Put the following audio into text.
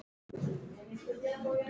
Þetta var huggun.